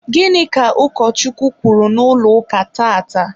gịnị ka ụkọchukwu kwuru n'ụlọ ụka tata?